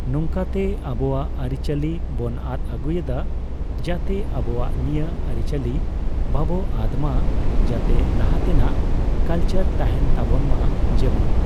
ᱱᱚᱝᱠᱟᱛᱮ ᱟᱵᱚᱣᱟᱜ ᱟᱨᱤ ᱪᱟᱞᱤ ᱵᱚ ᱟᱫ ᱟᱜᱩᱭᱮᱫᱟ, ᱡᱟᱛᱮ ᱟᱵᱚᱣᱟᱜ ᱱᱤᱭᱟᱹ ᱟᱨᱤᱪᱟᱞᱤ ᱵᱟᱵᱚ ᱟᱫᱽ ᱢᱟ ᱡᱟᱛᱮ ᱞᱟᱦᱟᱛᱮᱱᱟᱜ ᱠᱟᱞᱪᱟᱨ ᱛᱟᱦᱮᱸᱱ ᱛᱟᱵᱚᱱ ᱢᱟ ᱾ᱡᱮᱢᱚᱱ